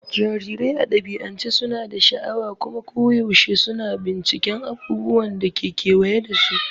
Jarirai a dabi'ance suna da sha'awa kuma koyaushe suna binciken abubuwan da ke kewaye da su.